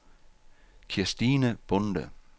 Kirstine Bonde